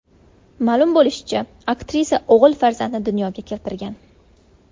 Ma’lum bo‘lishicha, aktrisa o‘g‘il farzandni dunyoga keltirgan.